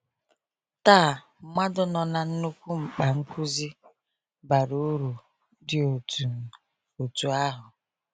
“Taa, mmadụ nọ na nnukwu mkpa nkuzi bara uru dị otú otú ahụ.